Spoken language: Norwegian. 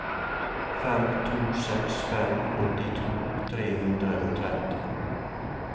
fem to seks fem åttito tre hundre og tretti